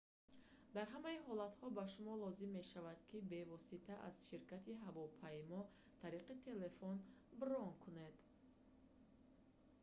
дар ҳамаи ҳолатҳо ба шумо лозим мешавад ки бевосита аз ширкати ҳавопаймо тариқи телефон брон кунед